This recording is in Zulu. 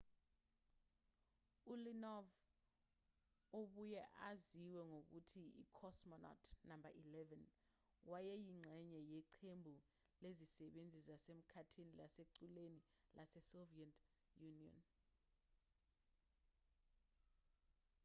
uleonov obuye aziwe ngokuthi i-cosmonaut no 11 wayeyingxenye yeqembu lezisebenzi zasemkhathini lasekuqaleni lasesoviet union